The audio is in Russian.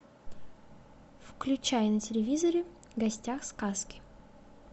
включай на телевизоре в гостях у сказки